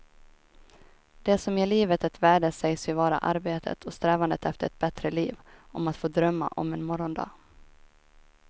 Det som ger livet ett värde sägs ju vara arbetet och strävandet efter ett bättre liv, om att få drömma om en morgondag.